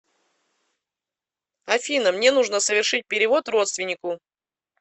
афина мне нужно совершить перевод родственнику